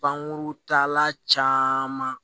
Pankuru tala caman